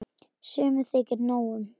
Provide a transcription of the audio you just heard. Sumum þykir nóg um.